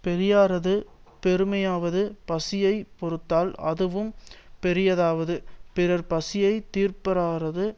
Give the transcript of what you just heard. பெரியாரது பெருமையாவது பசியை பொறுத்தல் அதுவும் பெரிதாவது பிறர் பசியைத் தீர்ப்பாரது